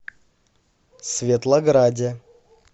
светлограде